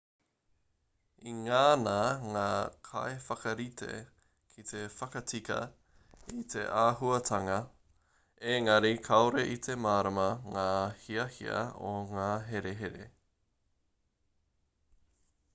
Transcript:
i ngana ngā kaiwhakarite ki te whakatika i te āhuatanga engari kāore i te mārama ngā hiahia o ngā herehere